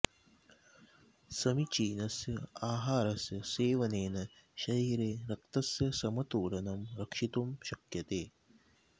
समीचीनस्य आहारस्य सेवनेन शरीरे रक्तस्य समतोलनं रक्षितुं शक्यते